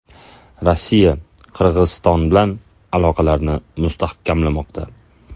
Rossiya Qirg‘iziston bilan aloqalarini mustahkamlamoqda.